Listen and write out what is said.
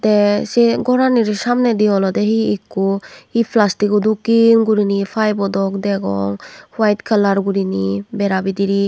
tey sey goranir samnedi olode hi ikko hi pelastik go dokken gurine hi paebo dok degong white kalar gurine bera bidirey.